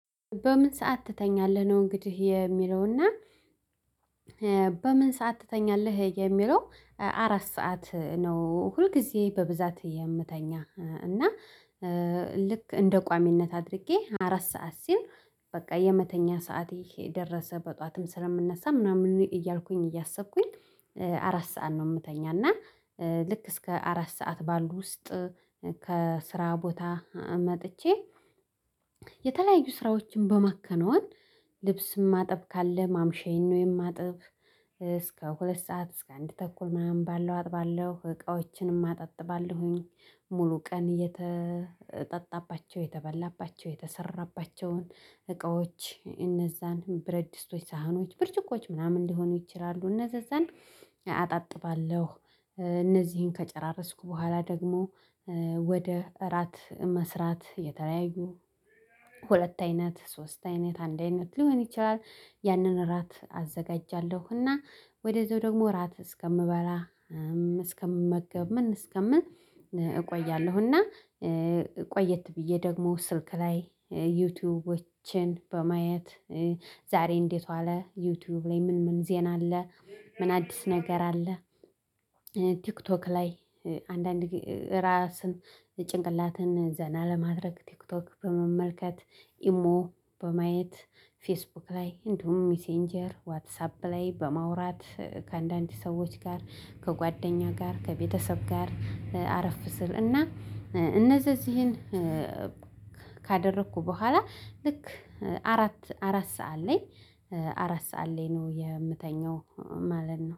በምን ሰዓት ትተኛለህ ነው እንግዲህ የሚለውና? በምን ሰዓት ትተኛለህ የሚለው? አራት ሰዓት ነው ሁልጊዜ በብዛት የምተኛ እና። ልክ እንደ ቋሚነት አድርጌ አራት ሰዓት ሲል በቃ የመተኛ ሰዓት ይሄ ደረሰ በጧትም ስለምነሳ ምናምን እያልኩኝ እያሰብኩኝ። አራት ሰዓት ነው የምተኛና። ልክ እስከ አራት ሰዓት ባሉ ውስጥ። ከስራ ቦታ መጥቼ። የተለያዩ ስራዎችን በማከናወን ልብስም ማጠብ ካለ ማምሻዬን ነው የማጥብ። እስከ ሁለት ሰዓት እስከ አንድ ተኩል ምናምን ባለው አጥባለሁ እቃዎችንም አጣጥባለሁኝ። ሙሉ ቀን የተጠጣባቸው የተበላባቸው የተሰራባቸውን እቃዎች እነዛንም ብረድ ስቶች ሳህኖች ብርጭቆች ምናምን ሊሆኑ ይችላሉ እነዛን አጣጥባለሁ። እነዚህን ከጨራረስኩ በኋላ ደግሞ ወደ እራት መስራት የተለያዩ ሁለት አይነት ሶስት አይነት አንድ አይነት ሊሆን ይችላል። ያንን እራት አዘጋጃለሁ። እና ወደዚያው ደግሞ እራት እስከምበላ እስከምመገብ ምን እስከምል እቆያለሁ። እና ቆየት ብዬ ደግሞ ስልክ ላይ ዩቲዩብ በማየት ዛሬ እንዴት ዋለ ዩቲዩብ ላይ ምን ምን ዜና አለ። ምን አዲስ ነገር አለ። ቲክቶክ ላይ አንዳንድ ራስን ጭንቅላትን ዘና ለማድረግ ቲክቶክ በመመልከት ኢሞ በማየት ፌስቡክ ላይ እንዲሁም ሚሴንጀር ዋትሳፕ ላይ በማውራት ከአንዳንድ ሰዎች ጋር ከጓደኛ ጋር ከቤተሰብ ጋር። አረፍ ስል እና እነዚህን ካደረኩ በኋላ ልክ አራት ሰዓት ላይ አራት ሰዓት ላይ ነው የምተኛው ማለት ነው